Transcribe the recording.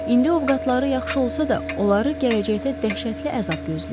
İndi ovqatları yaxşı olsa da, onları gələcəkdə dəhşətli əzab gözləyirdi.